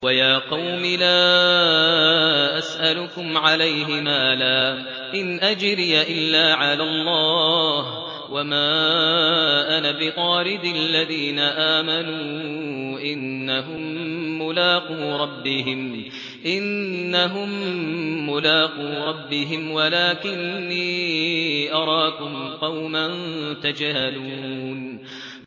وَيَا قَوْمِ لَا أَسْأَلُكُمْ عَلَيْهِ مَالًا ۖ إِنْ أَجْرِيَ إِلَّا عَلَى اللَّهِ ۚ وَمَا أَنَا بِطَارِدِ الَّذِينَ آمَنُوا ۚ إِنَّهُم مُّلَاقُو رَبِّهِمْ وَلَٰكِنِّي أَرَاكُمْ قَوْمًا تَجْهَلُونَ